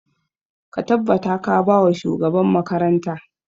Ka tabbata ka ba wa shugaban makaranta!